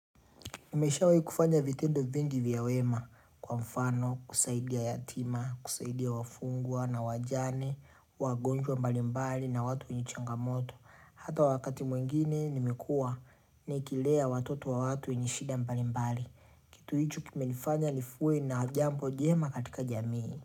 Nimeshawahi kufanya vitendo vingi vya wema. Kwa mfano, kusaidia yatima, kusaidia wafungwa na wajane, wagonjwa mbalimbali na watu wenye changamoto. Hata wakati mwingine nimekuwa nikilea watoto wa watu wenye shida mbalimbali. Kitu hicho kimenifanya nikuwe na jambo njema katika jamii.